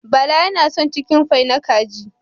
Bala yana son cikinfai na kaji